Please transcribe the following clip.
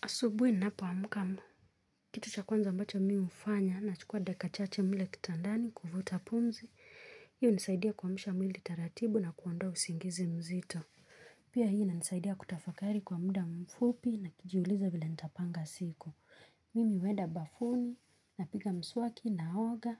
Asubuhi ninapoamka. Kitu cha kwanza ambacho mimi hufanya nachukua dakika chache mle kitandani kufuta pumzi. Hiyo unisaidia kuamsha mwili taratibu na kuondoa usingizi mzito. Pia hii inanisaidia kutafakari kwa muda mfupi na kijiuliza vile nitapanga siku. Mimi huenda bafuni napiga mswaki naoga